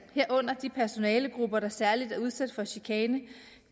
herunder de personalegrupper der særlig er udsat for chikane